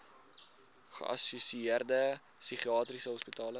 geassosieerde psigiatriese hospitale